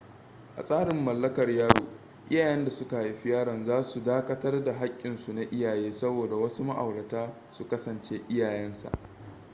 a tsarin mallakar yaro iyayen da suka haifi yaron za su dakatar da haƙƙinsu na iyaye saboda wasu ma'aurata su kasance iyayen sa